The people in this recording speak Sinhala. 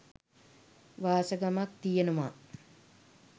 වාසගමත් තියෙනවා.